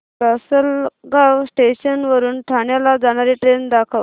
Lasalgaon station वरून ठाण्याला जाणारी ट्रेन दाखव